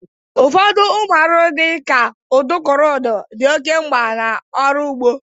Ụfọdụ ụmụ arụrụ dị ka udukurudu dị oke mgba n'ọrụ ụgbọ